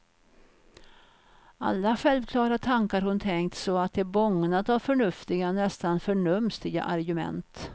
Alla självklara tankar hon tänkt så att de bågnat av förnuftiga, nästan förnumstiga argument.